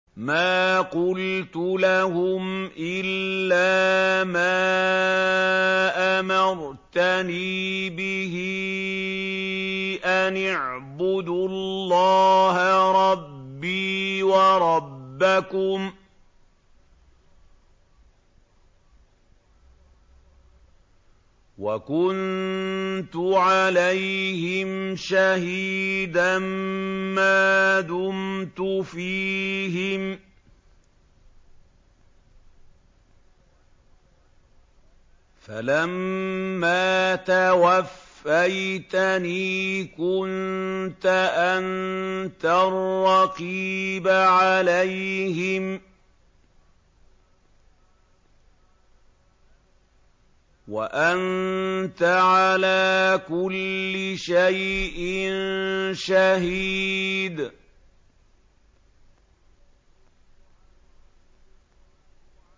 مَا قُلْتُ لَهُمْ إِلَّا مَا أَمَرْتَنِي بِهِ أَنِ اعْبُدُوا اللَّهَ رَبِّي وَرَبَّكُمْ ۚ وَكُنتُ عَلَيْهِمْ شَهِيدًا مَّا دُمْتُ فِيهِمْ ۖ فَلَمَّا تَوَفَّيْتَنِي كُنتَ أَنتَ الرَّقِيبَ عَلَيْهِمْ ۚ وَأَنتَ عَلَىٰ كُلِّ شَيْءٍ شَهِيدٌ